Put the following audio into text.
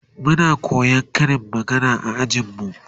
Muna koyan Karin magana a ajin mu